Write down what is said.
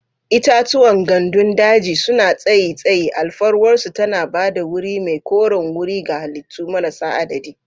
Itatuwan gandun daji suna tsayi tsayi, alfarwarsu tana ba da wuri mai koren wuri ga halittu marasa adadi.